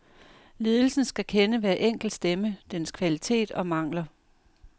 Ledelsen skal kende hver enkelt stemme, dens kvalitet og mangler.